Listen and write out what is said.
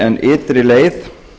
en ytri leið